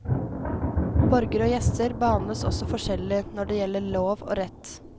Borgere og gjester behandles også forskjellig når det gjelder lov og rett.